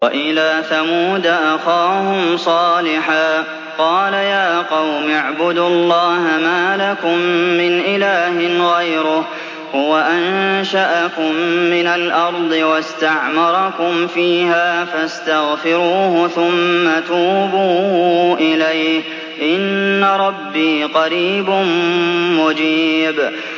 ۞ وَإِلَىٰ ثَمُودَ أَخَاهُمْ صَالِحًا ۚ قَالَ يَا قَوْمِ اعْبُدُوا اللَّهَ مَا لَكُم مِّنْ إِلَٰهٍ غَيْرُهُ ۖ هُوَ أَنشَأَكُم مِّنَ الْأَرْضِ وَاسْتَعْمَرَكُمْ فِيهَا فَاسْتَغْفِرُوهُ ثُمَّ تُوبُوا إِلَيْهِ ۚ إِنَّ رَبِّي قَرِيبٌ مُّجِيبٌ